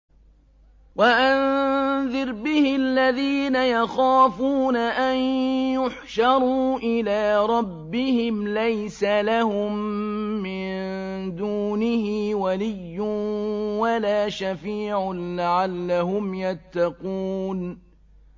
وَأَنذِرْ بِهِ الَّذِينَ يَخَافُونَ أَن يُحْشَرُوا إِلَىٰ رَبِّهِمْ ۙ لَيْسَ لَهُم مِّن دُونِهِ وَلِيٌّ وَلَا شَفِيعٌ لَّعَلَّهُمْ يَتَّقُونَ